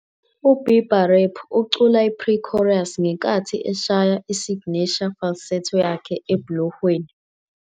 U-Bieber rap ucula i-pre-chorus, ngenkathi eshaya "isignesha falsetto " yakhe ebhulohweni.